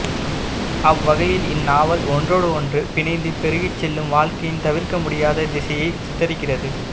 அவ்வகையில் இந்நாவல் ஒன்றோடொன்று பிணைந்து பெருகிச்செல்லும் வாழ்க்கையின் தவிர்க்கமுடியாத திசையை சித்தரிக்கிறது